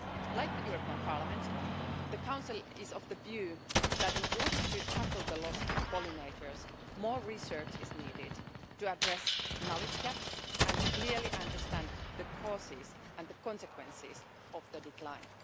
Like this Parliament, the Council is of the view that in order to tackle the loss of pollinators, more research is needed to address knowledge gaps and to clearly understand the causes and the consequences of the decline.